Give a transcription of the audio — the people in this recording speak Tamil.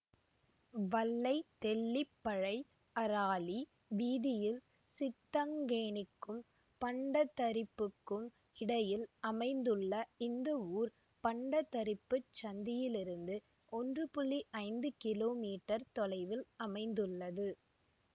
வல்லைதெல்லிப்பழைஅராலி வீதியில் சித்தங்கேணிக்கும் பண்டத்தரிப்புக்கும் இடையில் அமைந்துள்ள இந்த ஊர் பண்டத்தரிப்புச் சந்தியிலிருந்து ஒன்று ஐந்து கிலோமீட்டர் தொலைவில் அமைந்துள்ளது